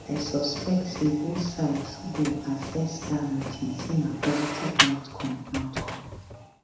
i suspect say both sides go assess dat meeting say na positive outcome outcome